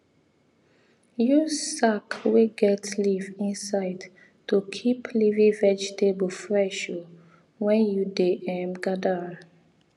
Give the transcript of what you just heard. use sack wey get leaf inside to keep leafy vegetable fresh um when you dey um gather am